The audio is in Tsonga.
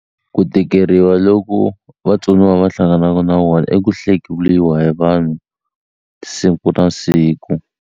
Ku tikeriwa loko vatsoniwa va hlanganaku na wona i ku hlekuliwa hi vanhu siku na siku.